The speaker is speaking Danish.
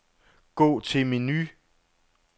Gå til menu.